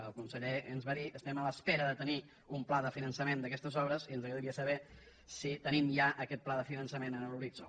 el conseller ens va dir estem a l’espera de tenir un pla de finançament d’aquestes obres i ens agradaria saber si tenim ja aquest pla de finançament en l’horitzó